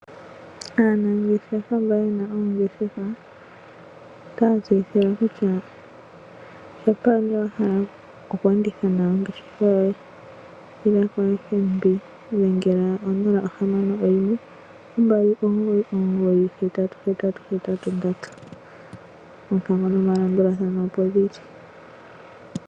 Aanangeshefa mba yena oongeshefa otaya tseyithilwa kutya ngele owa hala oku enditha nawa ongeshefa yoye inda koFNB. Dhengela onola ohamano oyimwe ombali omugoyi omugoyi hetatu hetatu hetatu nondatu. Oompango nomalandulathano opo dhili.